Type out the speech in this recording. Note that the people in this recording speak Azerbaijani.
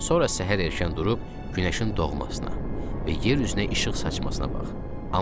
Sonra səhər erkən durub günəşin doğmasına və yer üzünə işıq saçmasına bax.